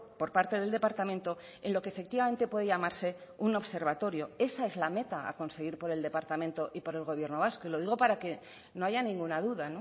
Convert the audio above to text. por parte del departamento en lo que efectivamente puede llamarse un observatorio esa es la meta a conseguir por el departamento y por el gobierno vasco y lo digo para que no haya ninguna duda